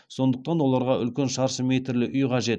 сондықтан оларға үлкен шаршы метрлі үй қажет